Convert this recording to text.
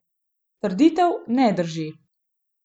Trditev ne drži.